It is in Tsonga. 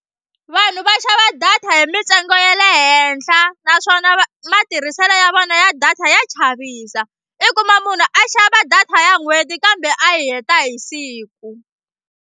Vanhu va xava data hi mitsengo ya le henhla naswona va matirhiselo ya vona ya data ya chavisa i kuma munhu a xava data ya n'hweti kambe a heta hi siku.